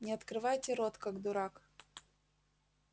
не открывайте рот как дурак